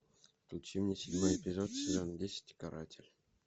включи мне седьмой эпизод сезон десять каратель